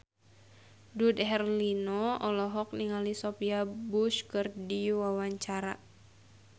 Dude Herlino olohok ningali Sophia Bush keur diwawancara